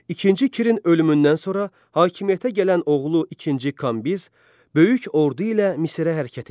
İkinci Kirin ölümündən sonra hakimiyyətə gələn oğlu ikinci Kambiz böyük ordu ilə Misirə hərəkət etdi.